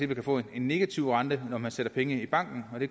kan få en negativ rente når man sætter penge i banken det